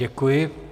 Děkuji.